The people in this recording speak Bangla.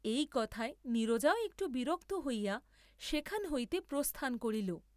এই কথায় নীরজাও একটু বিরক্ত হইয়া সেখান হইতে প্রস্থান করিল।